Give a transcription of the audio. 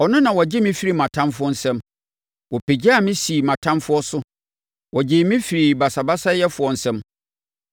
ɔno na ɔgye me firi mʼatamfoɔ nsam. Wopagyaa me sii mʼatamfoɔ so, wogyee me firii basabasayɛfoɔ nsam.